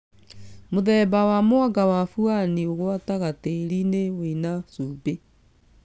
Mũthema wa mwanga wa buani ũgwataga tĩĩri-inĩ wĩna cumbĩ